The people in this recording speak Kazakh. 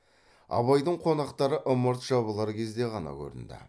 абайдың қонақтары ымырт жабылар кезде ғана көрінді